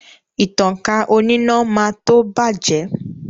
Ìtankà oníná máa tó bàjẹ́